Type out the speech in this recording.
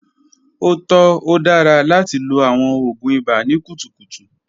O tọ, o dara lati lo awọn oògùn ibà ni kutukutu.